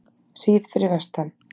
hríð fyrir vestan